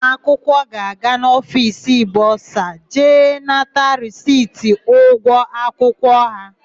Ụmụakwụkwọ ga-aga n'ofiisi bọsa jee nata risiti ụgwọ akwụkwọ ha.